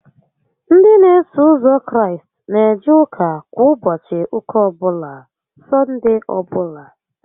Ndị n'eso ụzọ Kraịst n'eje ụka kwa ụbọchị ụka ọbụla (Sọndee ọbụla)